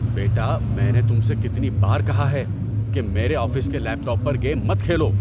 بیٹا، میں نے تم سے کتنی بار کہا ہے کہ میرے آفس کے لیپ ٹاپ پر گیم مت کھیلو؟